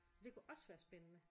Så det kunne også være spændende